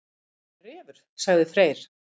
Fríða er refur, sagði Freyr.